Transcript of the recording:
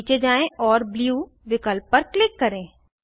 नीचे जाएँ और ब्लू विकल्प पर क्लिक करें